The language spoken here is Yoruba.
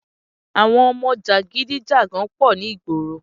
Àwọn ọmọ jàgidígàgun pọ̀ ní ìgboro